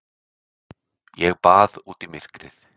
Ég bað út í myrkrið.